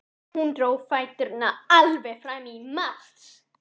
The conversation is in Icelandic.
Hann dró fæturna alveg fram í mars.